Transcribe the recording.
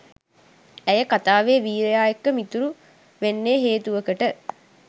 ඇය කතාවේ වීරයා එක්ක මිතුරු වෙන්නේ හේතුවකට.